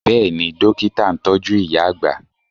Bẹ́ẹ̀ni, Dókítà ń tọ́jú ìyá àgbà